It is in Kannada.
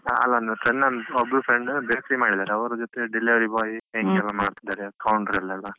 ಅಲ್ಲಾ ಅಂದ್ರೆ friend ಅಂದ್ರೆ ಒಬ್ಳು friend bakery ಮಾಡಿದ್ದಾರೆ ಅವರ ಜೊತೆ delivery boy , ಹಿಂಗೆಲ್ಲ ಮಾಡ್ತಿದ್ದಾರೆ country ಯಲ್ಲೆಲ್ಲ.